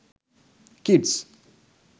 kids